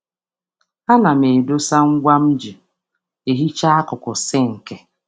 A na m echekwa brush dị nro maka ịsacha nkuku sinki na isi tap.